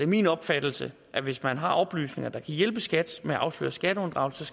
min opfattelse at hvis man har oplysninger der kan hjælpe skat med at afsløre skatteunddragelse